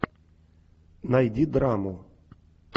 найди драму